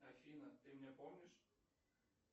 афина ты меня помнишь